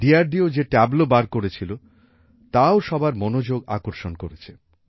দেরদো যে ট্যাবলো বার করেছিল তাও সবার মনোযোগ আকর্ষণ করেছে